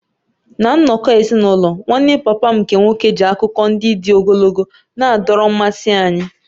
Ná nnọkọ ezinụlọ, nwanne papa m nke nwoke ji akụkọ ndị dị ogologo na-adọrọ mmasị anyị.